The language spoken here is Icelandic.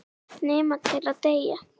Nema til að deyja.